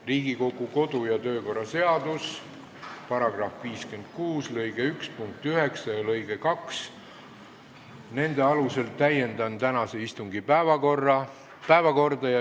Riigikogu kodu- ja töökorra seaduse § 56 lõike 1 punkti 9 ja lõike 2 alusel täiendan tänase istungi päevakorda.